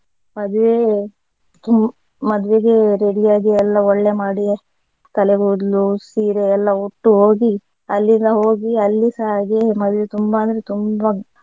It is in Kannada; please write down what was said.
ಮದ್ವೆ ಮದ್ವೆಗೆ ready ಆಗಿ ಎಲ್ಲ ಒಳ್ಳೆ ಮಾಡಿ ತಲೆಗೂದ್ಲು ಸೀರೆ ಎಲ್ಲಾ ಉಟ್ಟು ಹೋಗಿ ಅಲ್ಲಿ ನಾವು ಹೋಗಿ ಅಲ್ಲಿಸ ಹಾಗೆ ಮದ್ವೆ ತುಂಬಾ ಅಂದ್ರೆ ತುಂಬಾ.